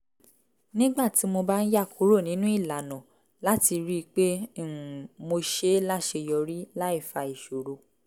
nígbà tí mo bá ń yà kúrò nínú ìlànà láti rí i pé um mo ṣe é láṣeyọrí láì fa ìṣòro